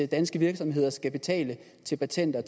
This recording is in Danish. danske virksomheder skal betale til patenter